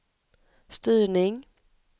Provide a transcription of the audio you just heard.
styrning